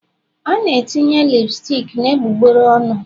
A na-etinye lipstic na egbugbere ọnụ